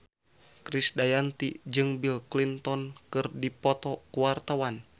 Krisdayanti jeung Bill Clinton keur dipoto ku wartawan